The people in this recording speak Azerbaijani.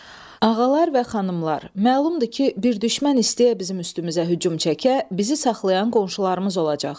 Ağalar və xanımlar, məlumdur ki, bir düşmən istəyə bizim üstümüzə hücum çəkə, bizi saxlayan qonşularımız olacaq.